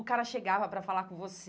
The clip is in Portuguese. O cara chegava para falar com você.